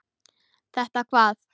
Þetta hvað?